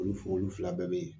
Olu fɛ olu fila bɛɛ bɛ yen